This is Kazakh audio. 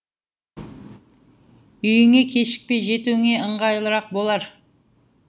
үйіңе кешікпей жетуіңе ыңғайлырақ болар